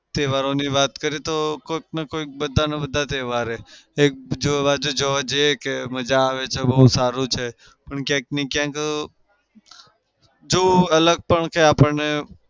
તહેવારોની વાત કરીએ તો કોઈકના કોઈક બધાને બધા તહેવાર એક જોવા જઇએ કે મજા આવે છે બઉ સારું છે ક્યાંકને ક્યાંક જો અલગ પણ છે આપણને